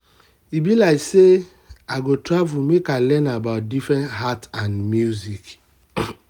e be like sey i go travel make i learn about different art and music.